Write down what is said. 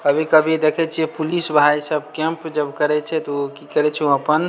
कभी-कभी देखे छीये पुलिस भाई सब कैंप जब करे छे तो उ की करे छै अपन --